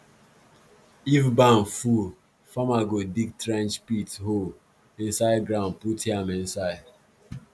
if barn full farmer go dig trench pit hole inside ground put yam inside